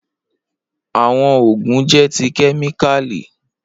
Awọn oogun jẹ ti kemikali.